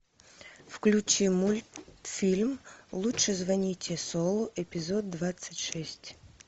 включи мультфильм лучше звоните солу эпизод двадцать шесть